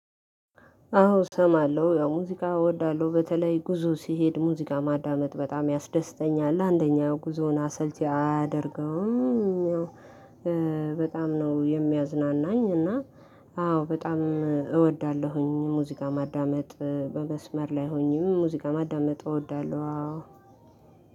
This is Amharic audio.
አዎ እሰማለሁ ያው ሙዚቃ እወዳለሁ በተለይ ጉዞ ሲሄድ ሙዚቃ ማዳመጥ በጣም ያስደስተኛል አንደኛው ጉዞውን አሰልቺ አያደርገውም። በጣም ነው የሚያዝናናኝ። እና አዎ በጣም እወዳለሁኝ ሙዚቃ ማዳመጥ በመስመር ላይ ሆኜም ሙዚቃ ማዳመጥ እወዳለሁ። አዎ